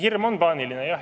Hirm on paaniline, jah.